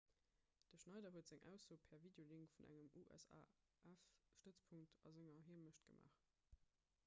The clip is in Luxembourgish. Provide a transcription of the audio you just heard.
de schneider huet seng ausso per videolink vun engem usaf-stëtzpunkt a senger heemecht gemaach